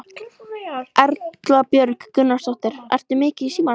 Erla Björg Gunnarsdóttir: Ertu mikið í símanum?